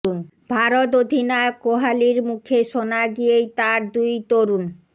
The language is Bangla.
ভারত অধিনায়ক কোহালির মুখে শোনা গিয়েই তাঁর দুই তরুণ